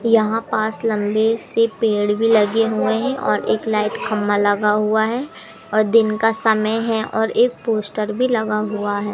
यहां पास लंबे से पेड़ भी लगे हुएं हैं और एक लाइट खंभा लगा हुआ और दिन का समय है और एक पोस्टर भी लगा हुआ हैं।